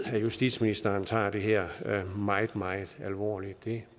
at justitsministeren tager det her meget meget alvorligt det